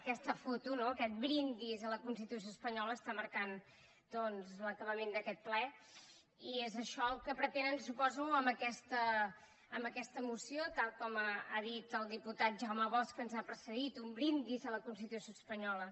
aquesta foto no aquest brindis a la constitució espanyola està marcant l’acabament d’aquest ple i és això el que pretenen suposo amb aquesta moció tal com ha dit el diputat el jaume bosch que ens ha precedit un brindis a la constitució espanyola